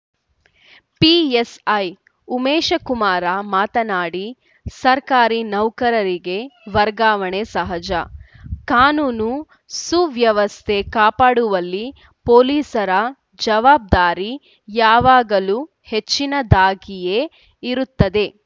PSI Umeshkumar ಮಾತನಾಡಿ ಸರ್ಕಾರಿ ನೌಕರರಿಗೆ ವರ್ಗಾವಣೆ ಸಹಜ ಕಾನೂನು ಸುವ್ಯವಸ್ಥೆ ಕಾಪಾಡುವಲ್ಲಿ ಪೊಲೀಸರ ಜವಾಬ್ದಾರಿ ಯಾವಾಗಲೂ ಹೆಚ್ಚಿನದಾಗಿಯೇ ಇರುತ್ತದೆ